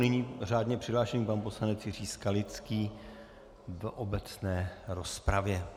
Nyní řádně přihlášený pan poslanec Jiří Skalický do obecné rozpravy.